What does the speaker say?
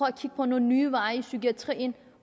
at kigge på nogle nye veje i psykiatrien